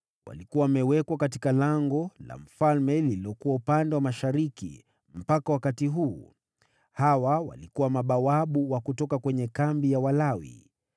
Walikuwa wamewekwa katika lango la mfalme lililokuwa upande wa mashariki, mpaka wakati huu. Hawa walikuwa mabawabu wa kutoka kwenye kambi ya Walawi.